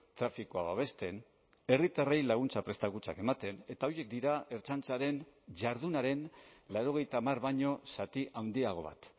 trafikoa babesten herritarrei laguntza prestakuntzak ematen eta horiek dira ertzaintzaren jardunaren laurogeita hamar baino zati handiago bat